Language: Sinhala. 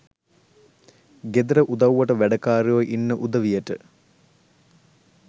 ගෙදර උදව්වට වැඩකාරයෝ ඉන්න උදවියට